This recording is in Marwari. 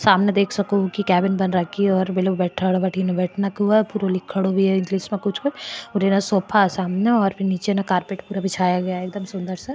समन देख सको की केबिन बन राखी है और और सोफा है सामन और निचे कारपेट पूरा बिछाया गया है सुन्दर सा।